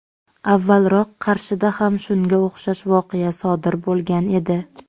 avvalroq Qarshida ham shunga o‘xshash voqea sodir bo‘lgan edi.